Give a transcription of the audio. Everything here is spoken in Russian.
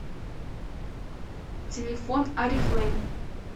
телефон орифлейм